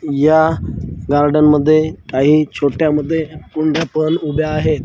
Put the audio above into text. या गार्डन मध्ये काही छोट्या मध्ये कुंड्या पण उभ्या आहेत.